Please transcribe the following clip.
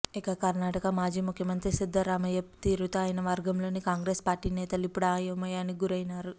ఇక కర్ణాటక మాజీ ముఖ్యమంత్రి సిద్దరామయ్య తీరుతో ఆయన వర్గంలోని కాంగ్రెస్ పార్టీ నేతలు ఇప్పుడు అయోమయానికి గురైనారు